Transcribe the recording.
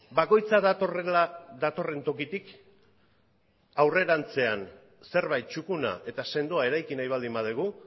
bakoitza datorrela datorren tokitik aurrerantzean zerbait txukuna eta sendoa eraiki nahi baldin badugu